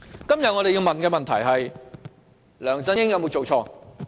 今天我們要問的問題是：梁振英有否做錯？